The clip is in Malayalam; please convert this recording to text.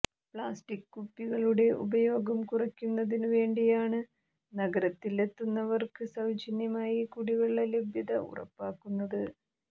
പ്ലാസ്റ്റിക് കുപ്പികളുടെ ഉപയോഗം കുറക്കുന്നതിനു വേണ്ടിയാണ് നഗരത്തിലെത്തുന്നവർക്ക് സൌജന്യമായി കുടിവെള്ള ലഭ്യത ഉറപ്പാക്കുന്നത്